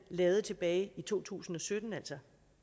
lavede tilbage i to tusind og sytten altså